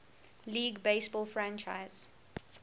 league baseball franchise